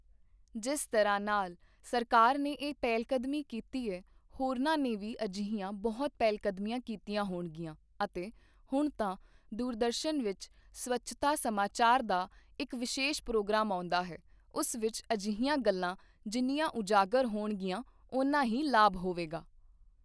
ਜਿਸ ਤਰ੍ਹਾਂ ਨਾਲ ਸਰਕਾਰ ਨੇ ਇਹ ਪਹਿਲਕਦਮੀ ਕੀਤੀ ਐ, ਹੋਰਨਾਂ ਨੇ ਵੀ ਅਜਿਹੀਆਂ ਬਹੁਤ ਪਹਿਲਕਦਮੀਆਂ ਕੀਤੀਆਂ ਹੋਣਗੀਆਂ ਅਤੇ ਹੁਣ ਤਾਂ ਦੂਰਦਰਸ਼ਨ ਵਿੱਚ ਸਵੱਛਤਾ ਸਮਾਚਾਰ ਦਾ ਇਕ ਵਿਸ਼ੇਸ਼ ਪ੍ਰੋਗਰਾਮ ਆਉਂਦਾ ਹੈ, ਉਸ ਵਿੱਚ ਅਜਿਹੀਆਂ ਗੱਲਾਂ ਜਿੰਨੀਆਂ ਉਜਾਗਰ ਹੋਣਗੀਆਂ, ਓਨਾ ਹੀ ਲਾਭ ਹੋਵੇਗਾ।